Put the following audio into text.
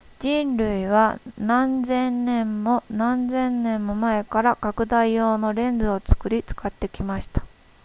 人類は何千年も何千年も前から拡大用のレンズを作り使ってきました